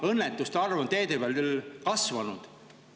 … kuna teede peal õnnetuste arv on kasvanud.